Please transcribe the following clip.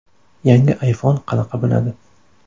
Yangi iPhone qanaqa bo‘ladi?